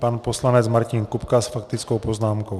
Pan poslanec Martin Kupka s faktickou poznámkou.